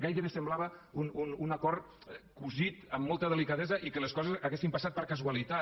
gairebé semblava un acord cosit amb molta delicadesa i que les coses haguessin passat per casualitat